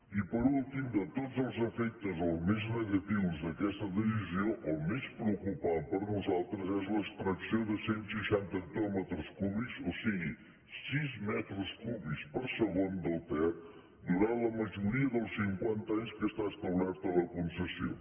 i per últim de tots els efectes o dels més negatius d’aquesta decisió el més preocupant per nosaltres és l’extracció de cent seixanta hectòmetres cúbics o sigui sis metres cúbics per segon del ter durant la majoria dels cinquanta anys en què està establerta la concessió